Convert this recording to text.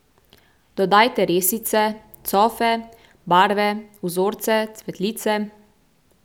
Dodajte resice, cofe, barve, vzorce, cvetlice ...